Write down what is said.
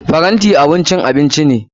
Tray abun cin abinci ne.